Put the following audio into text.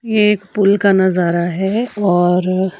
ये एक पुल का नजारा है और--